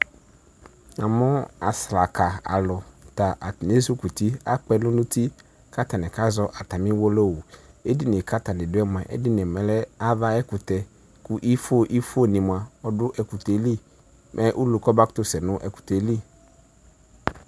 Namʋ asraka alʋ ta atani ezikuti kʋ akpɛlʋ nʋ uti kʋ atani kazɔ atami ʋwolowʋ edinie kʋ atani dʋɛ mua ɔlɛ ava ayʋ ɛkʋtɛ ifo ifo ni mʋa ɔdʋ ɛkʋtɛ yeli mɛ ʋlʋ kɔbakʋtʋ sɛnʋ ɛkʋtɛ yɛli